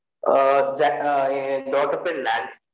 ஆஹ் daughter ஆ என் daughter பேர் நேன்சி